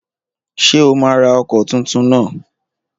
Ṣé o máa ra ọkọ̀ tuntun náà?